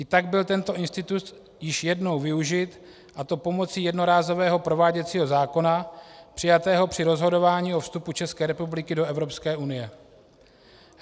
I tak byl tento institut již jednou využit, a to pomocí jednorázového prováděcího zákona přijatého při rozhodování o vstupu České republiky do Evropské unie.